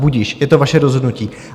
Budiž, je to vaše rozhodnutí.